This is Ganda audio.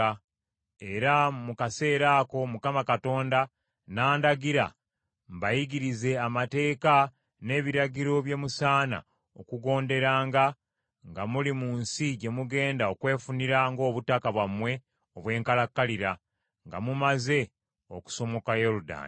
Era mu kaseera ako Mukama Katonda n’andagira mbayigirize amateeka n’ebiragiro bye musaana okugonderanga, nga muli mu nsi gye mugenda okwefunira ng’obutaka bwammwe obw’enkalakkalira, nga mumaze okusomoka Yoludaani.